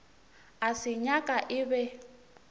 a se nyaka e be